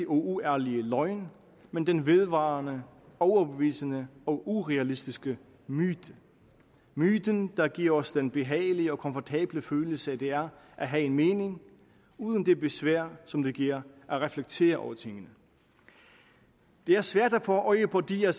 uærlige løgn men den vedvarende overbevisende og urealistiske myte myten der giver os den behagelige og komfortable følelse det er at have en mening uden det besvær som det giver at reflektere over tingene det er svært at få øje på de af